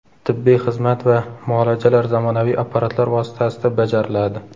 Tibbiy xizmat va muolajalar zamonaviy apparatlar vositasida bajariladi.